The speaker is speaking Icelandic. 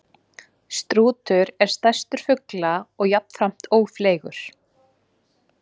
Strúturinn er stærstur fugla og jafnframt ófleygur.